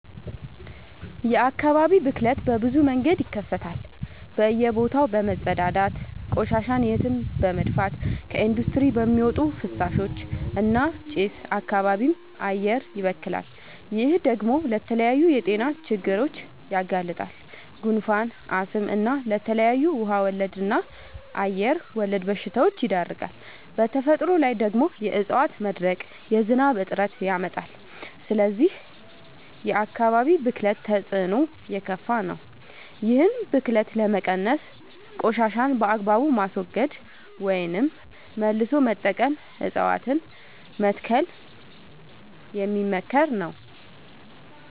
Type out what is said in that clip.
የአካባቢ ብክለት በብዙ መንገድ ይከሰታል በእየ ቦታው በመፀዳዳት፤ ቆሻሻን የትም በመድፍት፤ ከኢንዲስትሪ በሚወጡ ፍሳሾች እና ጭስ አካባቢም አየርም ይበከላል። ይህ ደግሞ ለተለያዩ የጤና ችግሮች ያጋልጣል። ጉንፋን፣ አስም እና ለተለያዩ ውሃ ወለድ እና አየር ወለድ በሽታወች ይዳርጋል። በተፈጥሮ ላይ ደግሞ የዕፀዋት መድረቅ የዝናብ እጥረት ያመጣል። ስለዚህ የአካባቢ ብክለት ተፅዕኖው የከፋ ነው። ይህን ብክለት ለመቀነስ ቆሻሻን በአግባቡ ማስወገድ ወይም መልሶ መጠቀም እፀዋትን መትከል የሚመከር ነው።